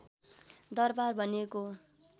दरबार भनिएको हो